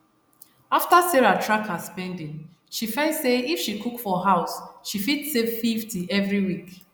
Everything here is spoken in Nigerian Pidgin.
after sarah track her spending she find say if she cook for house she fit save 50 every week